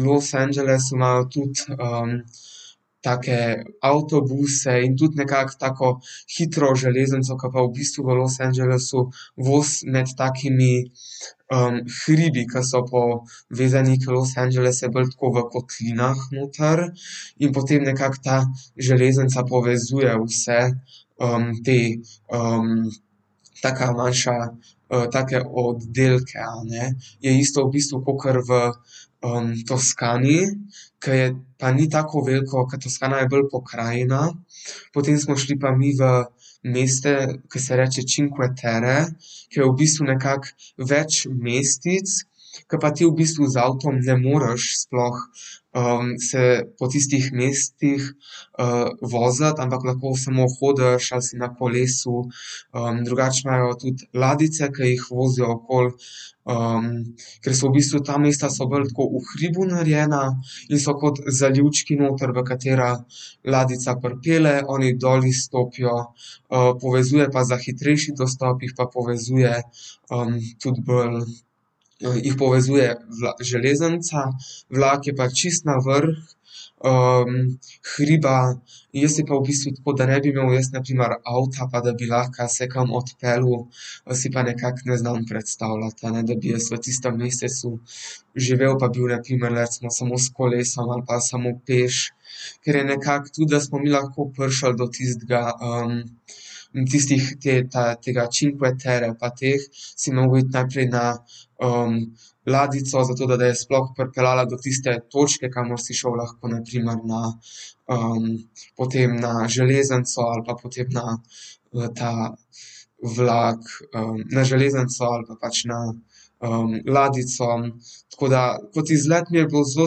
Los Angelesu imajo tudi, take avtobuse in tudi nekako tako hitro železnico, ke pa v bistvu v Los Angelesu vozi med takimi, hribi, ke so povezani, ke Los Angeles je bolj v kotlinah noter, in potem nekako ta železnica povezuje vse, ta, taka manjša, take oddelke, a ne. Je isto v bistvu kakor v, Toskani, ke je pa ni tako veliko, ke Toskana je bolj pokrajina. Potem smo šli pa mi v mesta, ke se reče Cinque Terre, ke je v bistvu nekako več mestec, ke pa ti v bistvu z avtom ne moreš sploh, se po tistih mestih, voziti, ampak lahko samo hodiš ali si na kolesu. drugače imajo tudi ladjice, ke jih vozijo okoli. ker so v bistvu ta mesta so bolj tako v hribu narejena in so kot zalivčki noter, v katere ladjica pripelje, oni dol izstopijo, povezuje pa za hitrejši dostop, jih pa povezuje, tudi bolj, jih povezuje železnica, vlak je pa čisto na vrh, hriba. Jaz si pa v bistvu tako, da ne bi imel jaz na primer avta, pa da bi lahko se kam odpeljal, si pa nekako ne znam predstavljati, a ne, da bi jaz v tistem mestecu živel pa bil na primer recimo samo s kolesom ali pa samo peš. Ker je nekako tudi, da smo mi lahko prišli do tistega, tistih, te, ta, tega Cinque Terre pa teh, si mogel iti najprej na, ladjico, zato da je sploh pripeljala do tiste točke, kamor si šel lahko na primer na, potem na železnico ali pa potem na v ta vlak, na železnico ali pa pač na, ladjico. Tako da kot izlet mi je bilo zelo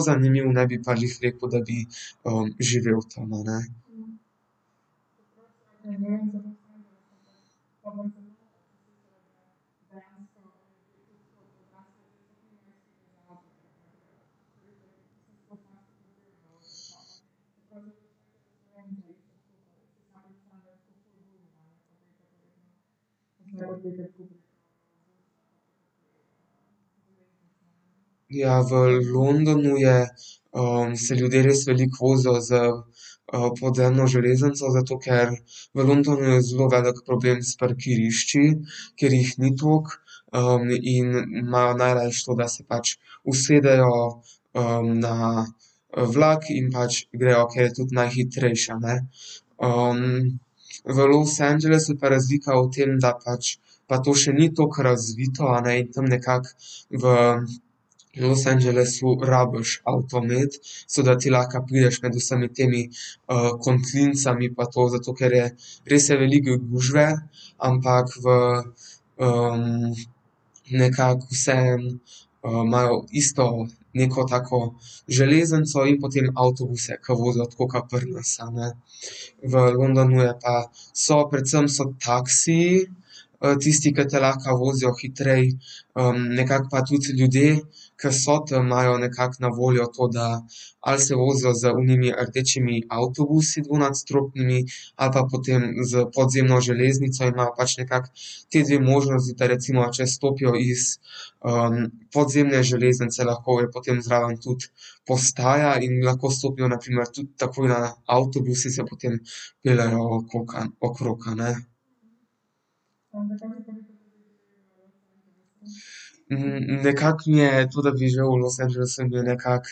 zanimivo, ne bi pa glih rekel, da bi, živel tam, a ne. Ja, v Londonu je, se ljudje res veliko vozijo s, podzemno železnico, zato ker v Londonu je zelo velik problem s parkirišči, ker jih ni toliko. in ima najrajši to, da se pač usedejo, na, vlak in pač grejo, ke je tudi najhitrejše, a ne. v Los Angelesu je pa razlika v tem, da pač pa to še ni toliko razvito, a ne, in tam nekako v Los Angelesu rabiš avto imeti, zato da ti lahko prideš med vsemi temi, kotlinicami pa to, zato ker je res je veliko gužve, ampak v, nekako vseeno, imajo isto neko tako železnico in potem avtobuse, ke vozijo tako ke pri nas, a ne. V Londonu je pa so predvsem so taksiji, tisti, ki te lahko vozijo hitreje, nekako pa tudi ljudje, ke so tam, imajo nekako na voljo to, da ali se vozijo z onimi rdečimi avtobusi dvonadstropnimi ali pa potem s podzemno železnico in imajo pač nekako ti dve možnosti, da recimo, če stopijo iz, podzemne železnice, lahko potem zraven tudi postaja in lahko stopijo na primer tudi takoj na avtobus in se potem peljejo okrog, a ne. nekako mi je to, da bi živel v Los Angelesu in bi nekako,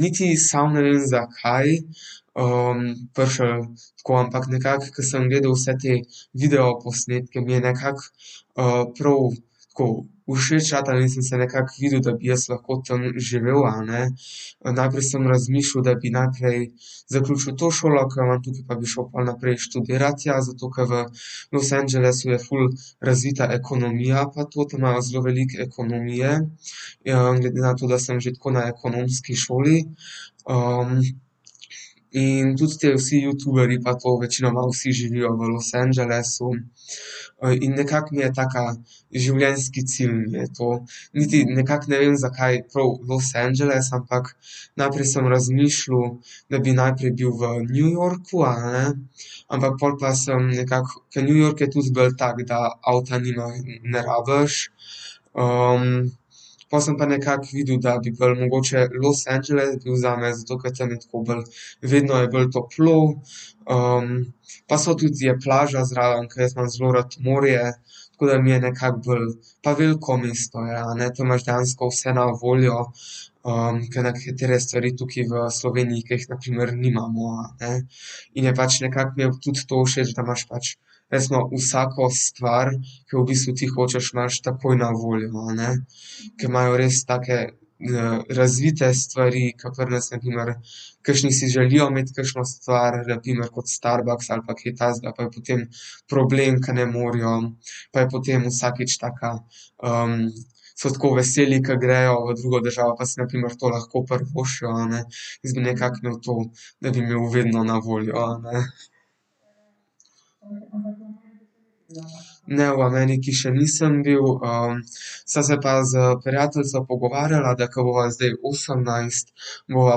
niti samo ne vem, zakaj, prišli tako, ampak nekako, ke sem gledal vse te videoposnetke, mi je nekako, prav tako všeč ratalo in sem se nekako videl, da bi jaz lahko tam živel, a ne. najprej sem razmišljal, da bi najprej zaključil to šolo, ke imam tukaj, pa bi šli pol naprej študirat tja, zato ke v Los Angelesu je ful razvita ekonomija pa to, tam imajo zelo veliko ekonomije. glede na to, da sem že tako na ekonomski šoli. in tudi te vsi youtuberji pa to večinoma vsi živijo v Los Angelesu. in nekako mi je tak življenjski cilj mi je to. Niti nekako ne vem, zakaj prav Los Angeles, ampak najprej sem razmišljal, da bi najprej bil v New Yorku, a ne, ampak pol pa sem nekako, ker New York je tudi bolj tak, da avta ne rabiš. pol sem pa nekako videl, da bi bolj mogoče Los Angeles bil zame, zato ke tam je tako bolj, vedno je bolj toplo, pa so tudi, je plaža zraven, ke jaz imam zelo rad morje. Tako da mi je nekako bolj, pa veliko mesto je, a ne, tam imaš dejansko vse na voljo, ke nekatere stvari tukaj v Sloveniji, ke jih na primer nimamo, a ne. In je pač nekako mi tudi to všeč, da imaš pač resno vsako stvar, ke jo v bistvu tu hočeš, imaš takoj na voljo, a ne. Ke imajo res take, razvite stvari, ke pri nas, na primer kakšni si želijo imeti kakšno stvar, na primer kot Starbucks ali pa kaj takega, pa je potem problem, ke ne morejo. Pa je potem vsakič taka, so tako veseli, ke grejo v drugo državo pa si na primer to lahko privoščijo. Jaz bi nekako imel to, da bi imeli vedno na voljo, a ne. Ne, v Ameriki še nisem bil, sem se pa s prijateljico pogovarjala, da ke bova zdaj osemnajst, bova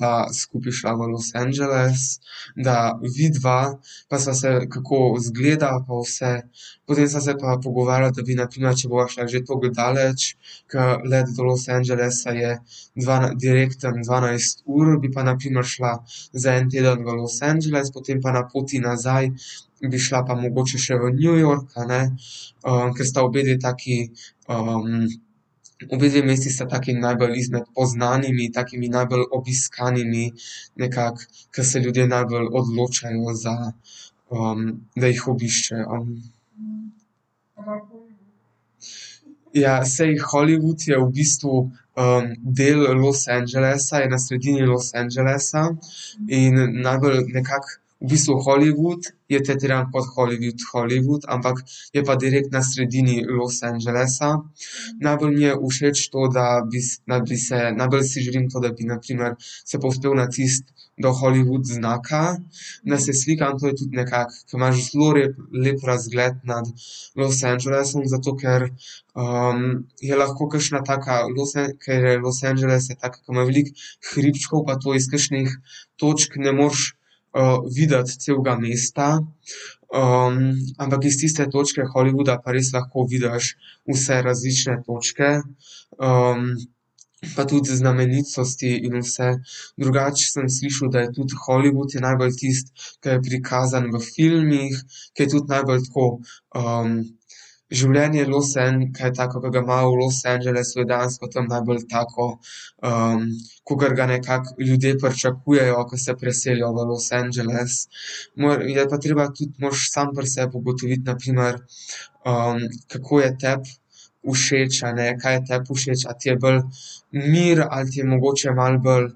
pa skupaj šla v Los Angeles, da vidiva, pa sva se, kako izgleda pa vse. Potem sva se pa pogovarjala, da bi na primer, če bova šla že toliko daleč, ke let do Los Angelesa je direktni, dvanajst ur, bi pa na primer šla za en teden v Los Angeles, potem pa na poti nazaj, bi šla pa mogoče še v New York, a ne. ke sta obedve taki, obedve mesti sta taki najbolj izmed poznanimi takimi najbolj obiskanimi nekako, ke se ljudje najbolj odločajo za, da ju obiščejo. Ja, saj Hollywood je v bistvu, del Los Angelesa, je na sredini Los Angelesa. In najbolj nekako v bistvu Hollywood, je tretiran kot Hollywood, Hollywood, ampak je pa direkt na sredini Los Angelesa. Najbolj mi je všeč to, da da bi se, najbolj si želim to, da bi na primer se povzpel na tisti do Hollywood znaka, da se slikam, to je tudi nekako, ke imaš zelo rep, lep razgled nad Los Angelesom, zato ker, je lahko kakšna taka, Los ke Los Angeles tak, ke ima veliko hribčkov pa to iz kakšnih točk ne moreš, videti celega mesta, ampak iz tiste točke Hollywooda pa res lahko vidiš vse različne točke, pa tudi znamenitosti in vse. Drugače sem slišal, da je tudi Hollywood je najbolj tisto, ke je prikazano v filmih, ke je tudi najbolj tako, življenje Los ke je tako, ke ga ima v Los Angelesu, dejansko tam najbolj tako, kakor ga nekako ljudje pričakujejo, ke se preselijo v Los Angeles. Moj, je pa treba tudi moraš sam pri sebi ugotoviti na primer, kako je tebi všeč, a ne. Kaj je tebi všeč, a ne. A ti je bolj mir, ali ti je mogoče malo bolj,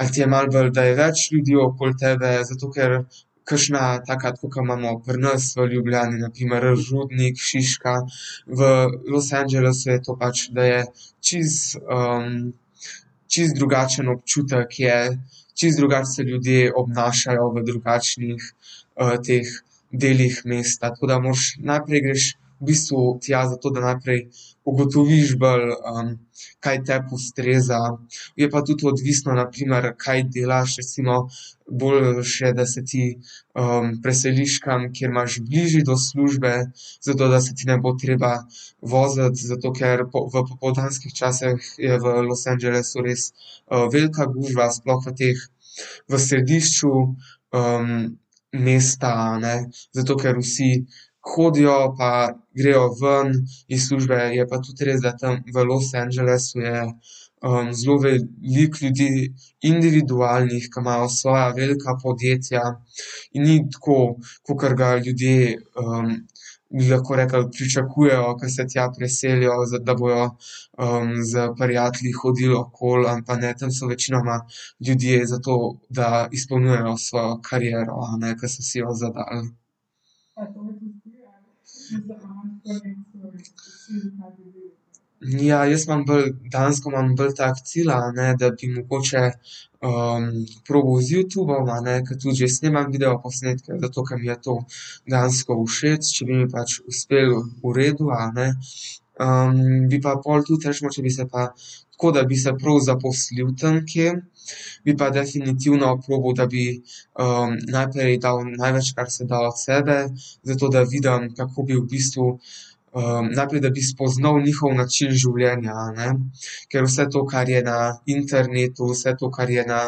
a ti je malo bolj, da je več ljudi okoli tebe, zato ker kakšna taka tako, ke imamo pri nas v Ljubljani, na primer Rudnik, Šiška, v Los Angelesu je to pač, da je čisto, čisto drugačen občutek je, čisto drugače se ljudje obnašajo, v drugačnih, teh delih mesta, tako da moraš, najprej greš v bistvu tja, zato da najprej ugotoviš bolj, kaj tebi ustreza. Je pa tudi odvisno na primer, kaj delaš. Recimo boljše je, da se ti, preseliš kam, kjer imaš bližje do službe, zato da se ti ne bo treba voziti, zato ker v popoldanskih časih je v Los Angelesu res, velika gužva sploh v teh, v središču, mesta, a ne. Zato ker vsi hodijo pa grejo ven iz službe, je pa tudi res, da tam v Los Angelesu je, zelo veliko ljudi, individualnih, ke imajo svoje velika podjetja in ni tako kakor ga ljudje, bi lahko rekli pričakujejo, ke se tja preselijo, da bojo, s prijatelji hodili okoli, ali pa ne, tam so večinoma ljudje za to, da izpolnjujejo svojo karierno, a ne, ke so si jo zadal. Ja, jaz imam bolj, dejansko imam bolj tak cilj, a ne, da bi mogoče, probal z Youtubom, a ne, ke tudi že snemam videoposnetke, zato ke mi je to dejansko všeč, če bi mi pač uspelo, v redu, a ne. bi pa pol tudi recimo, če bi se pa tako, da bi se prav zaposlil tam kje, bi pa definitivno probal, da bi, najprej dal, največ kar se da od sebe, zato da vidim, kako bi v bistvu, najprej, da bi spoznal njihov način življenja, a ne. Ker vse to, kar je na internetu, vse to, kar je na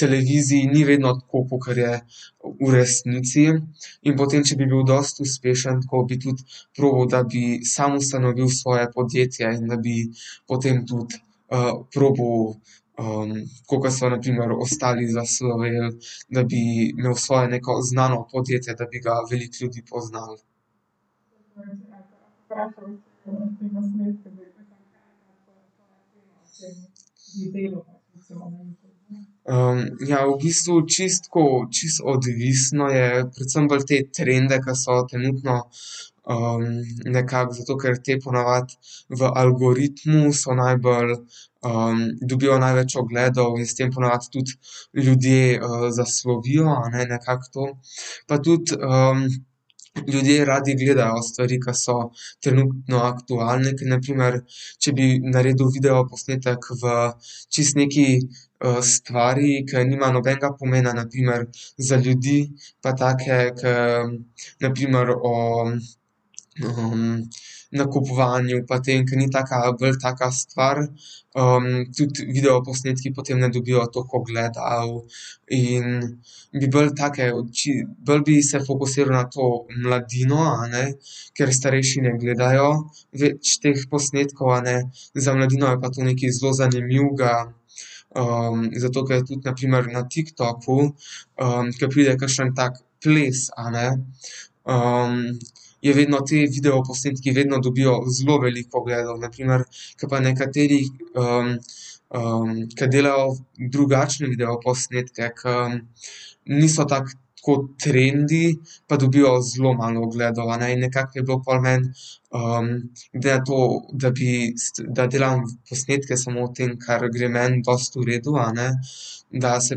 televiziji, ni vedno tako, kakor je v resnici in potem, če bi bil dosti uspešen, bi tudi probal, da bi sam ustanovil svoje podjetje in da bi potem tudi, probal, tako ke so na primer ostali zasloveli, da bi imel svoje neko znano podjetje, da bi ga veliko ljudi poznalo. ja v bistvu čisto tako, čisto odvisno je, predvsem bolj te trende, ke so trenutno, nekako zato, ker te po navadi v algoritmu so najbolj, dobijo največ ogledov in s tem po navadi tudi ljudje, zaslovijo, a ne, nekako to. Pa tudi, ljudje radi gledajo stvari, ke so trenutno aktualne, ke na primer, če bi naredil videoposnetek v čisto neki, stvari, ke nima nobenega pomena, na primer za ljudi pa take, ke na primer o, nakupovanju pa tem, ke ni taka bolj taka stvar, tudi videoposnetki potem ne dobijo tako ogledov. In bi bolj take bolj bi se fokusiral na to mladino, a ne, ker starejši ne gledajo več teh posnetkov, a ne. Za mladino je pa to nekaj zelo zanimivega, zato, ker tudi na primer na Tiktoku, ke pride kakšen tak ples, a ne. je vedno ti videoposnetki vedno dobijo zelo veliko ogledov, na primer, ke pa nekateri, ke delajo drugačne videoposnetke, ke niso tako, tako trendi, pa dobijo zelo malo ogledov, a ne, in nekako je bilo pol meni, glede na to, da bi, da delam posnetke samo v tem, kar gre meni dosti v redu, a ne, da se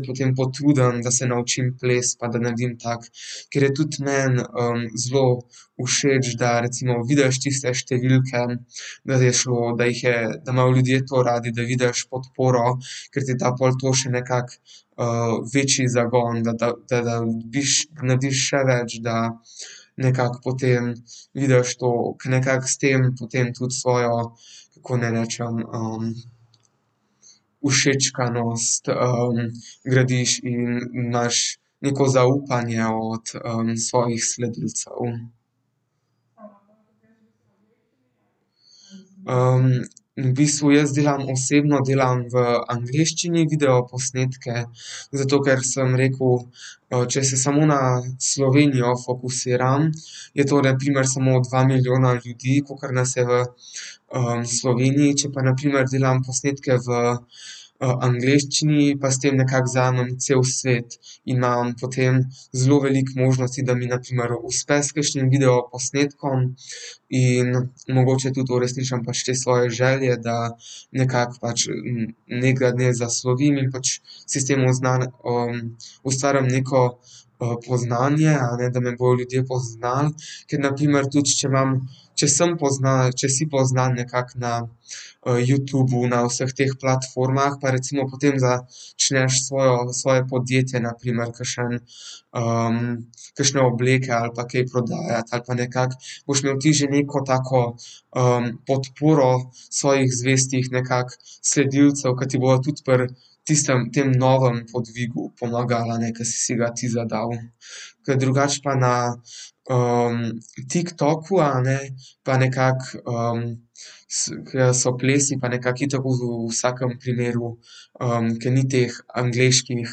potem potrudim, da se naučim ples pa da naredim tako, ker je tudi meni, zelo všeč, da recimo vidiš tiste številke, da je šlo, da jih je, da imajo ljudje to radi, da vidiš podporo, ker ti da pol tako še nekako, večji zagon, da, da, da dobiš, narediš še več nekako potem vidiš toliko, nekako s tem potem tudi svojo, kako naj rečem? všečkanost, gradiš in imaš neko zaupanje od svojih sledilcev. in v bistvu jaz delam, osebno delam v angleščini videoposnetke, zato ker sem rekel, če se samo na Slovenijo fokusiram, je to na primer samo dva milijona ljudi, kakor nas je, v Sloveniji. Če pa na primer delam posnetke v, angleščini, pa s tem nekako zajamem cel svet. In imam potem zelo veliko možnosti, da mi, na primer, uspe s kakšnim videoposnetkom. In mogoče tudi uresničim pač te svoje želje, da nekako pač nekega dne zaslovim in pač si s tem ustvarim neko, poznanje, a ne, da me bojo ljudje poznali. Ker na primer tudi, če imam, če sem poznan, če si poznan nekako na, Youtubu, na vseh teh platformah, pa recimo potem ()čneš svojo, svoje podjetje, na primer kakšen, kakšne obleke ali pa kaj prodajati ali pa nekako, boš imel ti že neko tako, podporo svojih zvestih nekako sledilcev, ke ti bojo tudi pri tistem tem novem podvigu pomagali, a ne, ke si si ga ti zadal. Ke drugače pa na, Tiktoku, a ne, pa nekako so plesi pa nekako itak v vsakim primeru, ke ni teh angleških,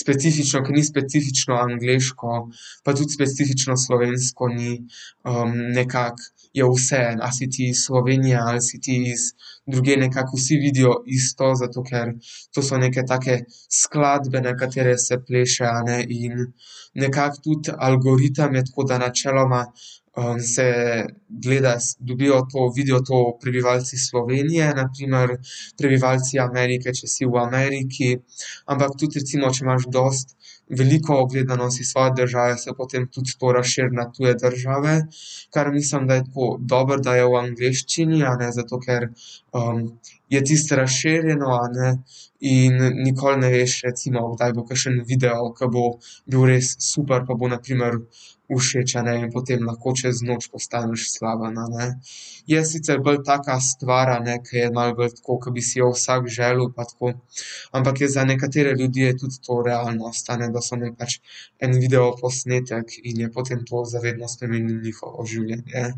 specifično, ke ni specifično angleško pa tudi specifično slovensko ni, nekako, je vseeno, ali si ti iz Slovenije ali si ti iz drugje, nekako vsi vidijo isto, zato ker to so neke take skladbe, na katere se pleše, a ne, in nekako tudi algoritem je tako, da načeloma, se gleda, dobijo to, vidijo to prebivalci Slovenije na primer. Prebivalci Amerike, če si v Ameriki, ampak tudi recimo, če imaš dosti veliko ogledanost iz svoje države, se potem tudi to razširi na tuje države. Kar mislim, da je tako, dobro, da je v angleščini, a ne, zato ker, je tisto razširjeno, a ne, in nikoli ne veš recimo, kdaj bo kakšen video, ke bo bil res super pa bo na primer všeč, a ne, in potem lahko čez noč postaneš slaven, a ne. Je sicer bolj taka stvar, a ne, ke je malo bolj tako, ke bi si jo vsak želel pa tako, ampak je za nekatere ljudi je tudi to realnost, a ne, da so imeli pač en videoposnetek in je potem to za vedno spremenil njihovo življenje.